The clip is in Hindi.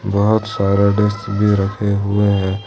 बहुत सारा डेस्क भी रखे हुए हैं।